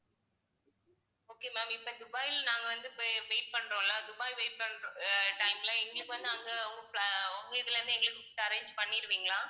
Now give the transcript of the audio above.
okay ma'am இப்போ துபாய்ல நாங்க வந்து இப்போ wait பண்றோம்ல துபாய் wait பண்ற அஹ் time ல எங்களுக்கு வந்து அங்க உங்க இதுல இருந்து எங்களுக்கு food arrange பண்ணிடுவீங்களா?